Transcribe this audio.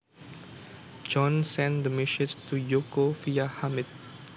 John sent the message to Yoko via Hamid